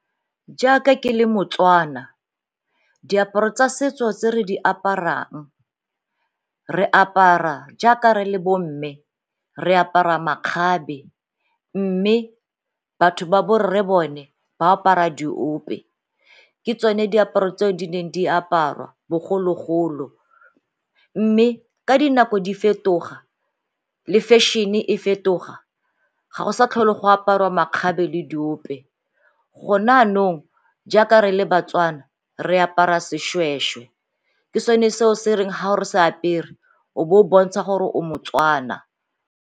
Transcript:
Jaaka ke le moTswana, diaparo tsa setso tse re di aparang re apara jaaka re le bo mme, re apara makgabe mme batho ba bo rre bone ba apara diope ke tsone diaparo tse di neng di aparwa bogologolo. Mme ka dinako di fetoga le fashion-e e fetoga ga go sa tlhole go aparwa makgabe le diope go nanong jaaka re le baTswana re apara seshweshwe ke sone seo se re ha o se apere o bo o bontsha gore o moTswana.